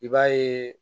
I b'a ye